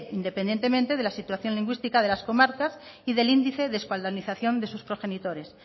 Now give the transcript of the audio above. independientemente de la situación lingüística de las comarcas y del índice de euskaldunización de sus progenitores